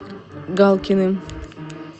галкиным